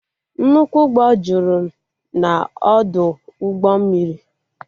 Nnukwu ụgbọ jụrụ n'ọdụ ụgbọ mmiri